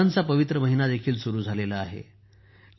रमजानचा पवित्र महिनादेखील सुरू झाला आहे